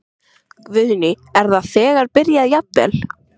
Guðný: Er það þegar byrjað jafnvel?